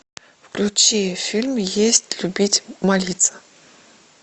включи фильм есть любить молиться